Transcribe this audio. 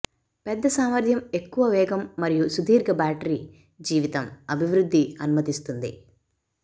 పెద్ద సామర్థ్యం ఎక్కువ వేగం మరియు సుదీర్ఘ బ్యాటరీ జీవితం అభివృద్ధి అనుమతిస్తుంది